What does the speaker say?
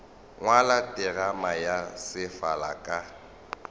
ngwala terama ya sefala ka